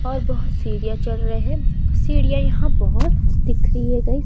और बहुत सीढ़ियां चढ़ रहे हैं सीढ़ियां यहां बहुत दिख रही है गाइस ।